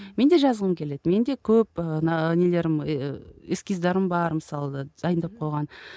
мен де жазғым келеді менде көп ы ана нелерім ііі эскиздарым бар мысалы дайындап қойған